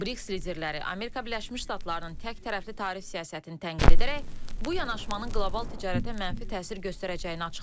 Brix liderləri Amerika Birləşmiş Ştatlarının təktərəfli tarif siyasətini tənqid edərək, bu yanaşmanın qlobal ticarətə mənfi təsir göstərəcəyini açıqlayıblar.